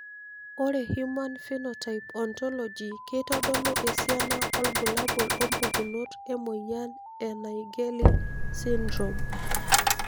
Ore Human Phenotype Ontology keitodolu esiana obulabul wompukunot emoyian e Naegeli syndrome.